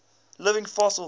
living fossils